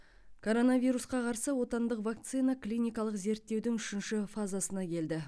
коронавирусқа қарсы отандық вакцина клиникалық зерттеудің үшінші фазасына келді